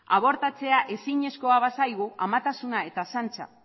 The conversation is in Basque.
abortatzea ezinezkoa bazaigu amatasuna eta